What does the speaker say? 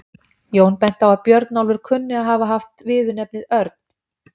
Jón benti á að Björnólfur kunni að hafa haft viðurnefnið örn.